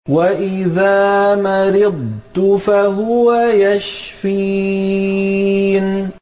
وَإِذَا مَرِضْتُ فَهُوَ يَشْفِينِ